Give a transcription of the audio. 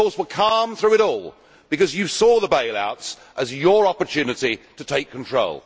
you, of course, were calm through it all, because you saw the bailouts as your opportunity to take control.